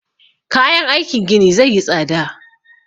Kayan aikin gini zai yi tsada